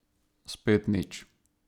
Spet nič.